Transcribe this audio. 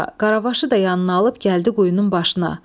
Qaravaşı da yanına alıb gəldi quyunun başına.